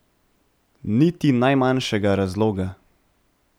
Niti najmanjšega razloga.